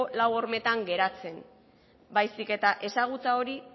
lau hormetan geratzen baizik eta ezagutza hori